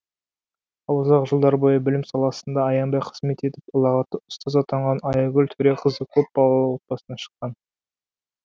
ал ұзақ жылдар бойы білім саласында аянбай қызмет етіп ұлағатты ұстаз атанған аягүл төреқызы көпбалалы отбасынан шыққан